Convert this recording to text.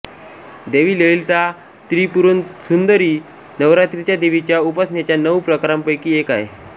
देवी ललिता त्रिपुरसुंदरी ही नवरात्रीच्या देवीच्या उपासनेच्या नऊ प्रकारांपैकी एक आहे